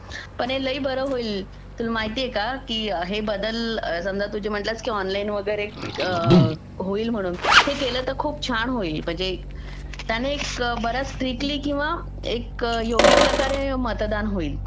पण हे लई बरं होईल तुला माहितीये का की हे बदल समजा तुझे काही म्हणलास की ऑनलाईन वगैरे होईल म्हणून हे केलं तर खूप छान होईल त्याने एक बऱ्याच स्त्रिकटली किंवा एक योग्य प्रकारे मतदान होईल